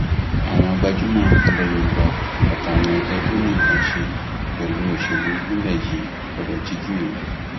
àwọn gbajúmọ ilẹ yorùbá àti àwọn ẹgbẹ tó ní nǹkan án ṣe pẹlú òṣèlú nílẹ yìí gbọdọ jí gìrì